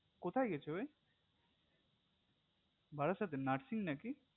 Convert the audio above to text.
কোথায় গেছে ওই বারাসাতে nursing নাকি